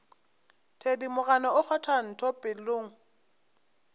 thedimogane o kgwatha ntho pelong